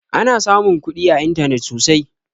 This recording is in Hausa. Ana samun kuɗi a intanet sosai